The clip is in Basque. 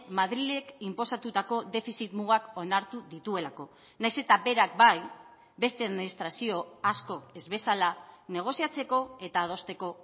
madrilek inposatutako defizit mugak onartu dituelako nahiz eta berak bai beste administrazio asko ez bezala negoziatzeko eta adosteko